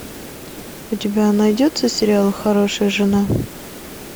у тебя найдется сериал хорошая жена